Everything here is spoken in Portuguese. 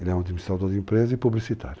Ele é um administrador de empresa e publicitário.